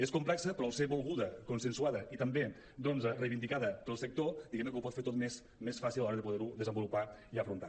és complexa però al ser volguda consensuada i també doncs reivindicada pel sector diguem ne que ho pot fer tot més fàcil a l’hora de poder ho desenvolupar i afrontar